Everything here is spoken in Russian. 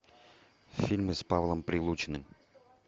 фильмы с павлом прилучным